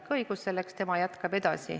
Tal on selleks seaduslik õigus.